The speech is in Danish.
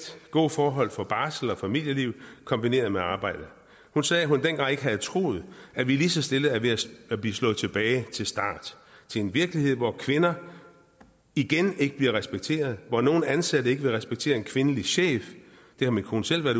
gode forhold for barsel og familieliv kombineret med arbejde hun sagde at hun dengang ikke ville have troet at vi lige så stille er ved at blive slået tilbage til start til en virkelighed hvor kvinder igen ikke bliver respekteret hvor nogle ansatte ikke vil respektere en kvindelig chef det har min kone selv været